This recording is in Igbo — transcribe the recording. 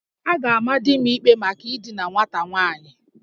A ga-ama di m ikpe maka idina nwata nwaanyị